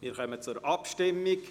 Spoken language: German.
Wir kommen zur Abstimmung.